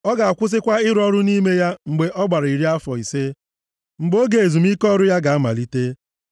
Ọ ga-akwụsịkwa ịrụ ọrụ nʼime ya mgbe ọ gbara iri afọ ise, mgbe oge ezumike ọrụ ya ga-amalite.